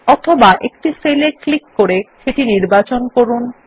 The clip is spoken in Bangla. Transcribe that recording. অথবা একটি সেল এ ক্লিক করে সেটি নির্বাচন করুন